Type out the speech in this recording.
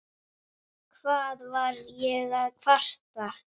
Hvað var ég að kvarta?